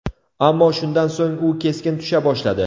Ammo shundan so‘ng u keskin tusha boshladi.